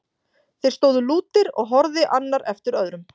Þeir stóðu lútir og horfði annar eftir öðrum.